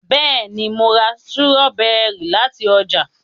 béèni mọ rà Sírọ́bẹ́rì láti oja